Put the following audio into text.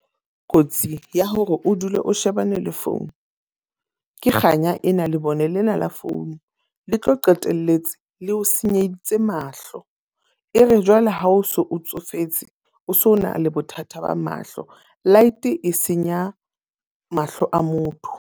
Kotsi ya hore o dule o shebane le phone, ke kganya ena, le bone lena la phone le tlo qetelletse le o senyeditse mahlo. E re jwale ha o so o tsofetse, o so na le bothata ba mahlo. Light e senya mahlo a motho.